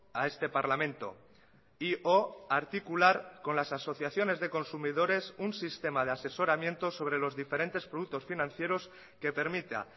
a este parlamento y o articular con las asociaciones de consumidores un sistema de asesoramiento sobre los diferentes productos financieros que permita